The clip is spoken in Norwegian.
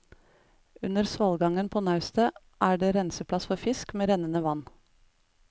Under svalgangen på naustet er det renseplass for fisk, med rennende vann.